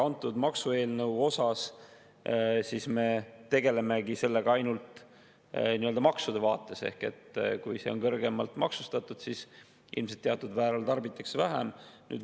Antud maksueelnõu abil me tegeleme sellega ainult nii-öelda maksude vaates ehk kui on kõrgemalt maksustatud, siis ilmselt teatud määral tarbitakse seda vähem.